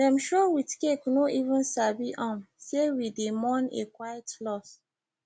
dem show with cake no even sabi um say we dey mourn a quiet loss